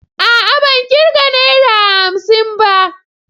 A'a ban kirga Naira hamsin ba.